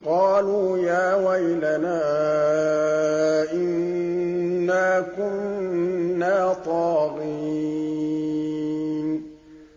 قَالُوا يَا وَيْلَنَا إِنَّا كُنَّا طَاغِينَ